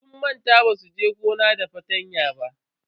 Sun manta basu je gona da fartanya ba.